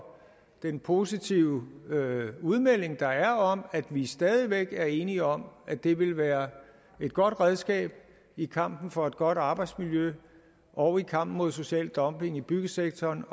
den positive udmelding der er om at vi stadig væk er enige om at det vil være et godt redskab i kampen for et godt arbejdsmiljø og i kampen mod social dumping i byggesektoren